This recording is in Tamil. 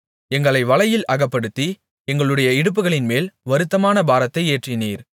எங்களை வலையில் அகப்படுத்தி எங்களுடைய இடுப்புகளின்மேல் வருத்தமான பாரத்தை ஏற்றினீர்